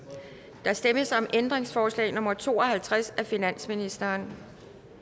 der stemmes om ændringsforslag nummer to og halvtreds af finansministeren